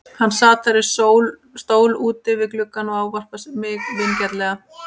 Hann sat þar í stól úti við gluggann og ávarpar mig vingjarnlega.